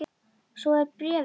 Svo er bréfið búið